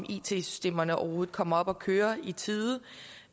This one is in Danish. it systemerne overhovedet kommer op at køre i tide